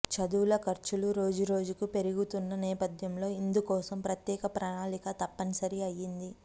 చదువుల ఖర్చులు రోజురోజుకూ పెరిగిపోతున్న నేపథ్యంలో ఇందుకోసం ప్రత్యేక ప్రణాళిక తప్పనిసరి అయ్యింది